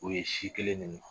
O ye si kelen de min